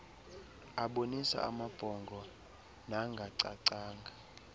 abonisa amabhongo nangacacanga